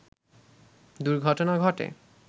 দুর্ঘটনা ঘটে